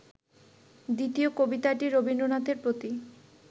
দ্বিতীয় কবিতাটি ‘রবীন্দ্রনাথের প্রতি’